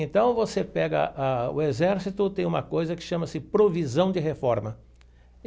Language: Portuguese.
Então, você pega a o exército, tem uma coisa que chama-se provisão de reforma.